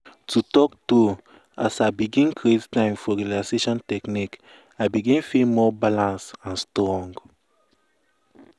to talk true as i begin create time for relaxation technique i begin feel more balance and strong.